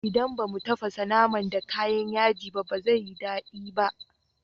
Idan ba mu tafasa naman da kayan yaji ba zai yi daɗi ba.